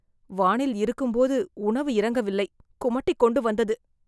வானில் இருக்கும்போது உணவு இறங்கவில்லை. கொமட்டிக்கொண்டு வந்தது